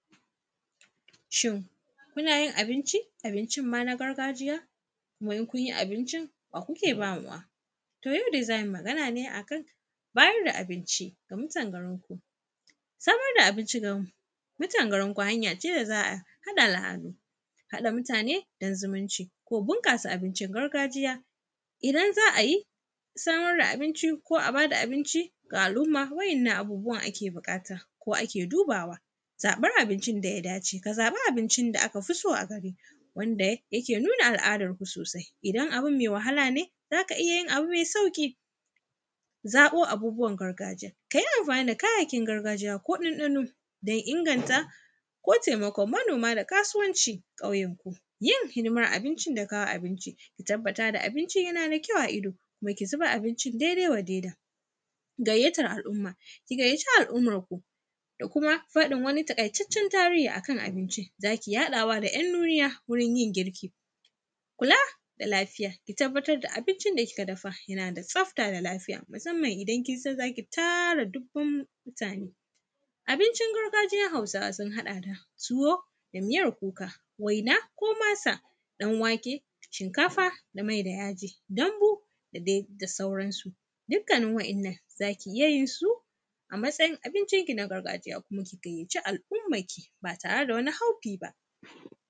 Shin munayin abinci abincinma na gargajiya to in kun yi abincin wa kukeba mawa to yaudai zamuyi maganane akan bayar da abinci a mutan garinku samar da abinci ga mutan garinku hanyace da zaa haɗa al’adu haɗa mutane don zumunci ko bunƙasa abincin gargajiya. Idan za a yi samar da binci ko a bayar da abinci da al’umma wa’yannan abubuwan ake buakata ko ake dubawa zaɓan abincin da yadace kazaɓa abincin da akafiso a garinka wanda yake nuna al’adanku sosai in abun mai wahalane zaka iyayin mai sauƙi zab abubuwan gargajiya kayi anfani da kayayyaykin gargajiya ko ɗanɗano dun inganta ko taimakon manoma da kasuwanci a ƙauyenku hidiman abincin da kawo abinci katabbata abincin yanada kyau a ido zuba abincin daidai wa daida gayyatan al’umma ki gayyata al’ummanku da kuma faɗan wani ta ƙaitaccen tarihi akan abincin da haɗawa da ‘yan nunuya a wajen yin girkin kula da lafiya ki tabbatarda abincin da kika dafa da tsafta da lafiya musanman idan kinsan zaki tara dubun mutane abincin gargajiyan hausawa sunhaɗa da tuwo da miyan kuka waina ko masa ɗan wake shinkafa da maid a yaji danbo da dai sauransu dukkanin wa’yannan zaki iyayinsu a matsayin abincin kin a gargajiya kuma ki gayyaci al’umman ki ba tare da wani haufi ba.